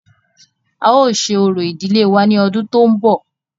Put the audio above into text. A ó ṣe orò ìdílé wa ní ọdún tó ń bọ̀.